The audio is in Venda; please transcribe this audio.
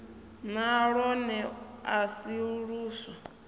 na lwone a si luswa